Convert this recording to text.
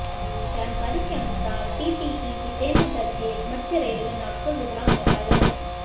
जानकारी के अनुसार टीटीई जितेन्द्र दर्भे मध्य रेलवे नागपुर विभाग में कार्यरत है